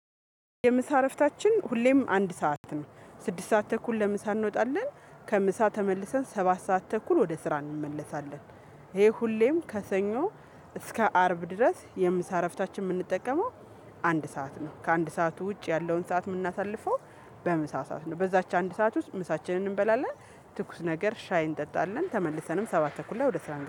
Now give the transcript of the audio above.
የምሳ እረፍታችን ሁሌም አንድ ሰዓት ነው ስድስት ሰዓት ተኩል ለምሳ እንወጣለን። ከምሳ ተመልሰን ሰባት ሰዓት ተኩል ወደ ስራ እንመለሳለን። ይሄ ሁሌም ከሰኞ እስከ አርብ ድረስ የምሳ እረፍታችን የምንጠቀመው። አንድ ሰዓት ነው ከአንድ ሰዓት ውጭ ያለውን ሰዓት የምናሳልፈው። በምሳ ሰዓት ነው በዛች አንድ ሰዓት ውስጥ ምሳችንን እንበላለን። ትኩስ ነገር ሻይ እንጠጣለን ተመልሰንም ሰባት ተኩል ላይ ወደ ስራ